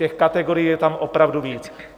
Těch kategorií je tam opravdu víc.